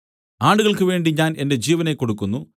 ആടുകൾക്ക് വേണ്ടി ഞാൻ എന്റെ ജീവനെ കൊടുക്കുന്നു